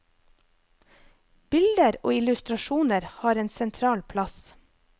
Bilder og illustrasjoner har en sentral plass.